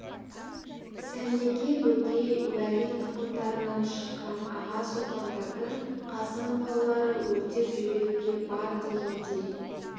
сәмеке бөкей уәли тұқымдарынан шыққан аға сұлтандарды қасым балалары өртеп жіберуге бар дегендей